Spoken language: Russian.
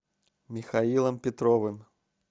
михаилом петровым